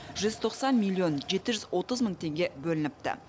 жүз тоқсан миллион жеті жүз отыз мың теңге бөлініпті